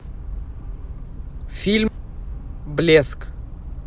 фильм блеск